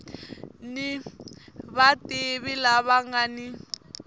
ni vativi lava nga ni